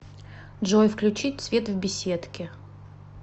джой включить свет в беседке